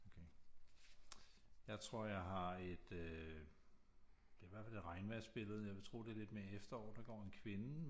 Okay jeg tror jeg har et øh det er i hvert fald et regnvejrsbillede jeg vil tro at det er lidt mere efterår der går en kvinde